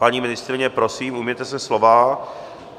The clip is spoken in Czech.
Paní ministryně, prosím, ujměte se slova.